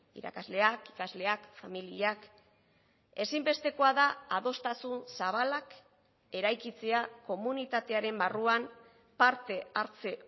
irakasleak ikasleak familiak ezinbestekoa da adostasun zabalak eraikitzea komunitatearen barruan parte hartze